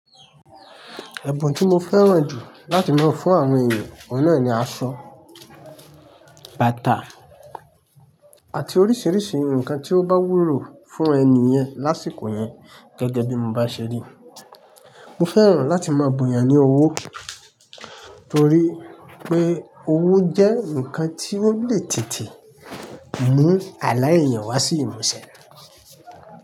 Ẹ̀bùn tí mo fẹ́ràn jù láti máa fún àwọn èeyan, ọ̀hun nà ni aṣọ, bàtà àti oríṣiríṣi nǹkan tí ó bá wúlò fún ẹni yẹn lásìkò yẹn gẹ́gẹ́ bí mo bá ṣe rí. Mo fẹ́ràn láti máa bu eeyàn ní owó torí pé owó jẹ́ ǹnkan tí ó lè tètè mú àlá èeyàn wá sí ìmúṣẹ.